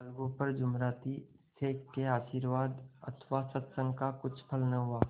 अलगू पर जुमराती शेख के आशीर्वाद अथवा सत्संग का कुछ फल न हुआ